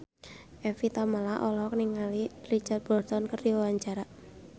Evie Tamala olohok ningali Richard Burton keur diwawancara